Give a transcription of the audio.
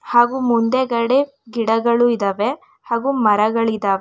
ಹಾಗೂ ಮುಂದೆಗಡೆ ಗಿಡಗಳು ಇದಾವೆ ಹಾಗೂ ಮರಗಳಿದಾವೆ.